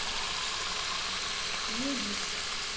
медис